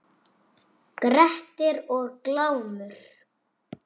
Grettir og Glámur